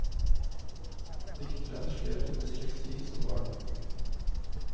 Dikteren slet med dysleksi som barn.